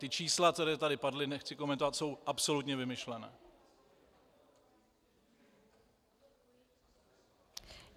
Ta čísla, která tady padla, nechci komentovat, jsou absolutně vymyšlená.